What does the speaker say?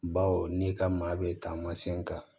Baw n'i ka maa bɛ taamasɛn kan